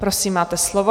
Prosím, máte slovo.